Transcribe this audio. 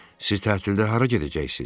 Siz tətildə hara gedəcəksiz?